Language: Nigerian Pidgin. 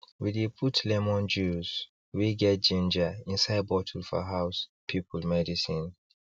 we dey put lemon juice wey get ginger inside bottle for house people medicine